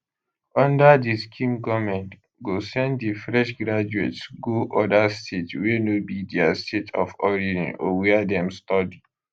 under di scheme goment go send di fresh graduates go oda states wey no be dia state of origin or wia dem study